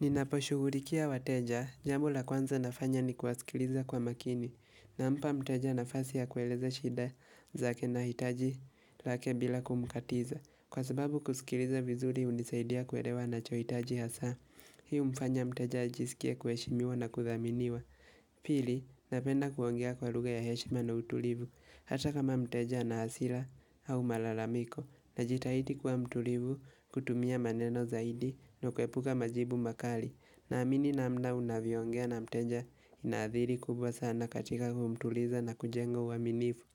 Ninaposhugurikia wateja, jambo la kwanza nafanya ni kuwasikiliza kwa makini, nampa mteja nafasi ya kueleza shida zake na hitaji lake bila kumkatiza, kwa sababu kusikiliza vizuri unisaidia kuelewa anachohitaji hasa, hii umfanya mteja ajisikie kueshimiwa na kuthaminiwa. Pili, napenda kuongea kwa luga ya heshima na utulivu, hata kama mteja ana hasila au malalamiko Najitaidi kuwa mtulivu kutumia maneno zaidi na kuepuka majibu makali Naamini namna unavyoongea na mteja ina athiri kubwa sana katika kumtuliza na kujenga uaminifu